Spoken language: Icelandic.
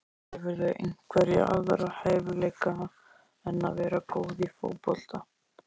Hefurðu einhverja aðra hæfileika en að vera góð í fótbolta?